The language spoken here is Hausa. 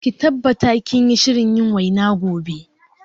Ki tabbata kinyi shirin yin waina gobe